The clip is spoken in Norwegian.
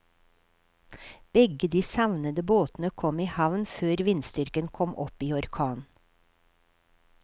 Begge de savnede båtene kom i havn før vindstyrken kom opp i orkan.